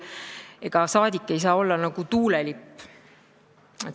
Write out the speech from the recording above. Ega saadik ei saa olla nagu tuulelipp.